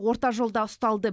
орта жолда ұсталды